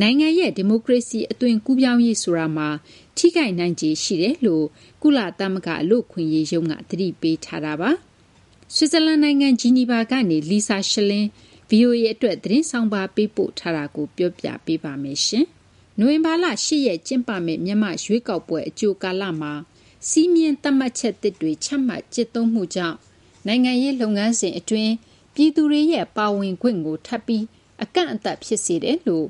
နိုင်ငံရဲ့ ဒီမိုကရေစီ အသွင်ကူးပြောင်းရေး ဆိုတာမှာ ထိခိုက်နိုင်ခြေရှိကြောင်း ကုလသမဂ္ဂ လူ့အခွင့်အရေးရုံးက သတိပေးထားပါတယ်။ ဆွစ်ဇာလန်နိုင်ငံ ဂျီနီဗာကနေ Lisa Schlein က ဗွီအိုအေအတွက် သတင်းဆောင်းပါး ပေးပို့ထားတာကို မသိင်္ဂီထိုက် တင်ပြပေးထားပါတယ်။ နိုဝင်ဘာလ ၈ ရက် ကျင်းပမယ့် မြန်မာ့ရွေးကောက်ပွဲ အကြိုကာလမှာ စည်းမျဉ်းသတ်မှတ်ချက်သစ်တွေ ချမှတ် ကျင့်သုံးမှုကြောင့် နိုင်ငံရေး လုပ်ငန်းစဉ်အတွင်း ပြည်သူတွေရဲ့ ပါဝင်ခွင့်ကို ထပ်ပြီး ကန့်သတ်မှု ဖြစ်စေတယ်လို့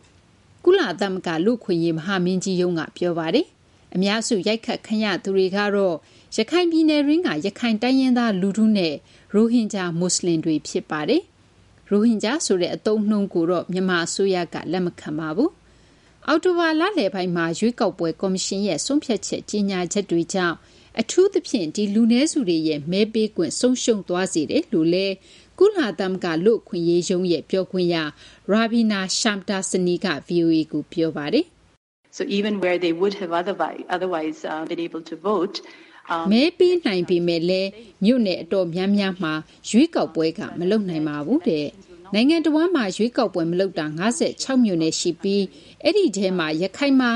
ကုလသမဂ္ဂ လူ့အခွင့်အရေး မဟာမင်းကြီးရုံးက ပြောပါတယ်။ အများစု ရိုက်ခတ်ခံရသူတွေကတော့ ရခိုင်ပြည်နယ်တွင်းက ရခိုင်တိုင်းရင်းသား လူထုနဲ့ ရိုဟင်ဂျာ မွတ်စလင်တွေ ဖြစ်ပါတယ်။ ရိုဟင်ဂျာဆိုတဲ့ အသုံးအနှုန်းကို မြန်မာအစိုးရက လက်မခံပါဘူး။ အောက်တိုဘာလလယ်ပိုင်းမှာ ရွေးကောက်ပွဲ ကော်မရှင်ရဲ့ ဆုံးဖြတ် ကြေညာချက်တွေကြောင့် အထူးသဖြင့် ဒီလူနည်းစုတွေရဲ့ မဲပေးခွင့် ဆုံးရှုံးသွားစေတယ်လို့လည်း ကုလသမဂ္ဂ လူ့အခွင့်အရေးရုံး ပြောခွင့်ရ Ravina Shamdasani က ဗွီအိုအေကို ပြောပါတယ်။ “မဲပေးနိုင်ပေမယ့်လည်း မြို့နယ်အတော်များများမှာ ရွေးကောက်ပွဲက မလုပ်ပါဘူး။ နိုင်ငံတဝန်းမှာ ရွေးကောက်ပွဲမလုပ်တာ ၅၆ မြို့နယ် ရှိပါတယ်။ ဒီထဲမှာ ရခိုင်မှာ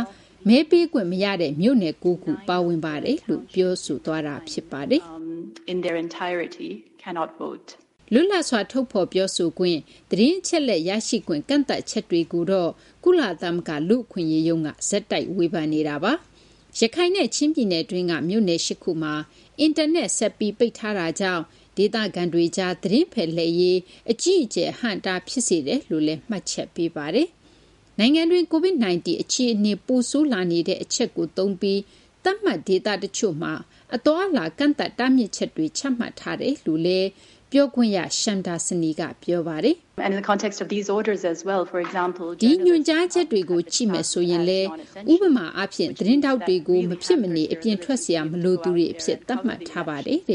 လုံးဝ မဲပေးခွင့်မရတဲ့ မြို့နယ် ၉ ခု ပါဝင်ပါတယ်။” လွတ်လပ်စွာ ထုတ်ဖော်ပြောဆိုခွင့်၊ သတင်းအချက်အလက် ရရှိခွင့် ကန့်သတ်ချက်တွေကိုတော့ ကုလသမဂ္ဂ လူ့အခွင့်အရေးရုံးက ဆက်တိုက် ဝေဖန်နေတာပါ။ ရခိုင်နဲ့ ချင်းပြည်နယ်တွင်းက မြို့နယ် ၈ ခုမှာ အင်တာနက် ဆက်ပြီး ပိတ်ထားတာကြောင့် ဒေသခံတွေကြား သတင်းဖလှယ်ရေး အကြီးအကျယ် အဟန့်အတား ဖြစ်စေတယ်လို့လည်း မှတ်ချက်ပေးပါတယ်။ နိုင်ငံတွင်း COVID-19 အခြေအနေ ပိုဆိုးလာနေတာကို သုံးပြီး သတ်မှတ်ဒေသတချို့မှာ အသွားအလာ ကန့်သတ်တားမြစ်ချက်တွေ ချမှတ်ထားတယ်လို့လည်း ပြောခွင့်ရ Shamdasani က ပြောပါတယ်။ “ဒီညွှန်ကြားချက်တွေကို ကြည့်မယ်ဆိုရင်လည်း ဥပမာအားဖြင့် သတင်းထောက်တွေကို မဖြစ်မနေ အပြင်ထွက်စရာ မလိုသူတွေအဖြစ် သတ်မှတ်ထားပါတယ်။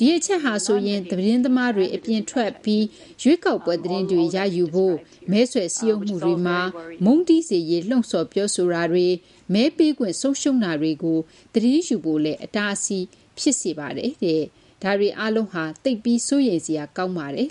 ဒီအချက်ဟာဆိုရင် သတင်းသမားတွေ အပြင်ထွက်ပြီး ရွေးကောက်ပွဲသတင်းတွေ ရယူဖို့၊ မဲဆွယ်စည်းရုံးမှုတွေမှာ မုန်းတီးစေရေး လှုံ့ဆော်ပြောဆိုတာတွေ၊ မဲပေးခွင့် ဆုံးရှုံးတာတွေကို သတင်းယူဖို့ အတားအဆီး ဖြစ်စေပါတယ်။ ဒါတွေအားလုံးဟာ သိပ်ကို စိုးရိမ်စရာ ကောင်းပါတယ်။”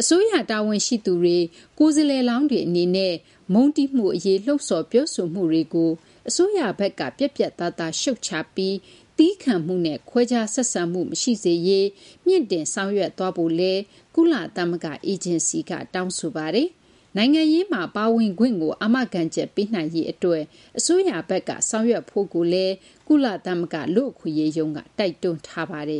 အစိုးရ တာဝန်ရှိသူတွေ၊ ကိုယ်စားလှယ်လောင်းတွေ အနေနဲ့ မုန်းတီးမှုအရေး လှုံ့ဆော် ပြောဆိုမှုတွေကို အစိုးရဘက်က ပြတ်ပြတ်သားသား ရှုတ်ချပြီး သည်းခံမှုနဲ့ ခွဲခြားဆက်ဆံမှု မရှိစေရေး မြှင့်တင်ဆောင်ရွက်ဖို့လည်း ကုလသမဂ္ဂ အေဂျင်စီက တောင်းဆိုပါတယ်။ နိုင်ငံရေးမှာ ပါဝင်ခွင့်ကို အာမခံချက်ပေးနိုင်ရေး အစိုးရဘက်က ဆောင်ရွက်ဖို့လည်း ကုလသမဂ္ဂ လူ့အခွင့်အရေးရုံးက တိုက်တွန်းထားပါတယ်